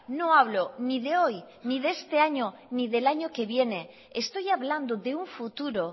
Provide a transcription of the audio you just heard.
no hablo ni de hoy ni de este año ni del año que viene estoy hablando de un futuro